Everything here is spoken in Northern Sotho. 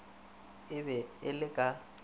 a be a le ka